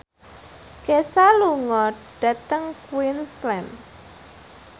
Kesha lunga dhateng Queensland